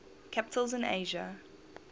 capitals in asia